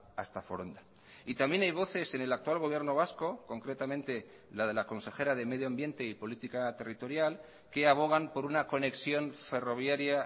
hasta foronda y también hay voces en el actual gobierno vasco concretamente la de la consejera de medio ambiente y política territorial que abogan por una conexión ferroviaria